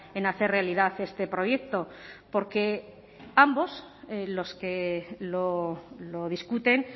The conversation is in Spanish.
en hacer realidad este proyecto porque ambos los que lo discuten